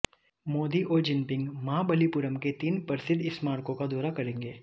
मोदी औरजिनपिंग महाबलिपुरम के तीन प्रसिद्ध स्मारकों का दौरा करेंगे